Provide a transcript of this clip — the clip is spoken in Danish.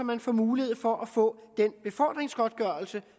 man får mulighed for at kunne få den befordringsgodtgørelse